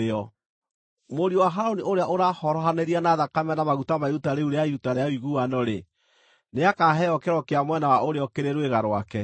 Mũriũ wa Harũni ũrĩa ũrahorohanĩria na thakame na maguta ma iruta rĩu rĩa iruta rĩa ũiguano-rĩ, nĩakaheo kĩero kĩa mwena wa ũrĩo kĩrĩ rwĩga rwake.